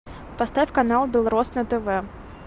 поставь канал белрос на тв